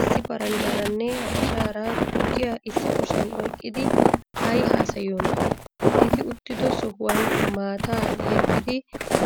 Issi paranjjaaranne habashaara tukkiyaa issi kushiyan oyiqqidi ayi haasayiyoonaa? Eti uttido sohuwan maataa yeggidi